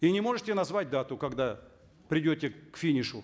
и не можете назвать дату когда придете к финишу